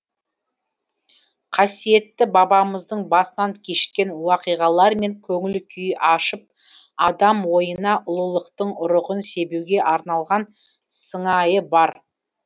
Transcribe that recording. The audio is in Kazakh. қасиетті бабамыздың басынан кешкен уақиғалар мен көңіл күйін ашып адам ойына ұлылықтың ұрығын себуге арналған сыңайы бар